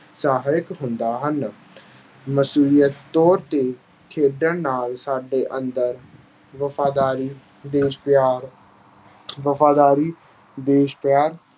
ਸਹਾਇਕ ਹੁੰਦਾ ਹਨ। ਨਸੀਹਤ ਤੌਰ 'ਤੇ ਖੇਡਣ ਨਾਲ ਸਾਡੇ ਅੰਦਰ ਵਫ਼ਾਦਾਰੀ, ਦੇਸ਼-ਪਿਆਰ, ਵਫ਼ਾਦਾਰੀ, ਦੇਸ਼-ਪਿਆਰ